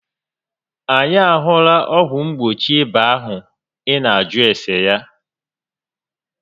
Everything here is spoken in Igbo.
Anyị a hụla ọgwụ mgbochi ịba ahụ ị nà ajụ ese ya